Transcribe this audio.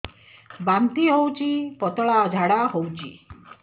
ବାନ୍ତି ହଉଚି ପତଳା ଝାଡା ହଉଚି